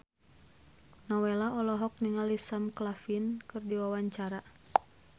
Nowela olohok ningali Sam Claflin keur diwawancara